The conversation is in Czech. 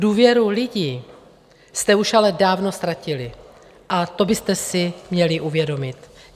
Důvěru lidí jste ale už dávno ztratili a to byste si měli uvědomit.